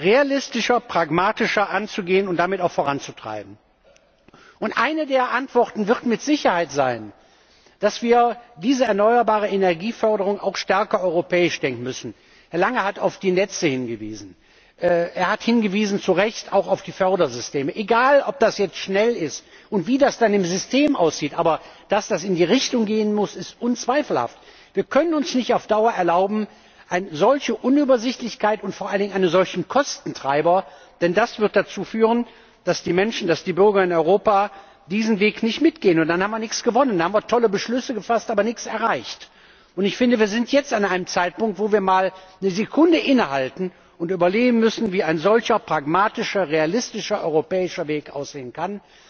würden, realistischer, pragmatischer anzugehen und damit auch voranzutreiben. Eine der Antworten wird mit Sicherheit sein, dass wir diese Förderung erneuerbarer Energie auch stärker europäisch denken müssen. Herr Lange hat auf die Netze hingewiesen, er hat zu Recht auch auf die Fördersysteme hingewiesen. Egal, ob das jetzt schnell ist und wie das dann im System aussieht, aber dass das in die Richtung gehen muss, ist unzweifelhaft. Wir können uns nicht auf Dauer eine solche Unübersichtlichkeit und vor allen Dingen einen solchen Kostentreiber erlauben. Denn das wird dazu führen, dass die Menschen, dass die Bürger in Europa diesen Weg nicht mitgehen. Dann haben wir nichts gewonnen, dann haben wir tolle Beschlüsse gefasst, aber nichts erreicht. Ich finde, wir sind jetzt an einem Zeitpunkt, wo wir mal eine Sekunde innehalten und überlegen müssen, wie ein solcher pragmatischer, realistischer, europäischer Weg